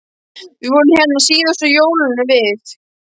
Við vorum hérna síðast á jólunum við